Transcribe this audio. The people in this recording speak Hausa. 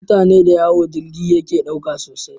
Mutane dayawo jirgi yake ɗauka sosai